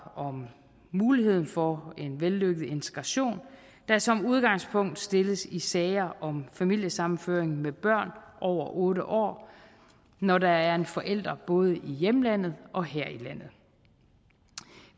om muligheden for en vellykket integration der som udgangspunkt stilles i sager om familiesammenføring med børn over otte år når der er en forælder både i hjemlandet og her i landet